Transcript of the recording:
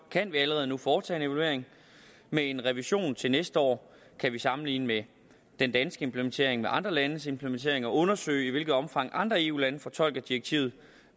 kan vi allerede nu foretage en evaluering med en revision til næste år kan vi sammenligne den danske implementering med andre landes implementering og undersøge i hvilket omfang andre eu lande fortolker direktivet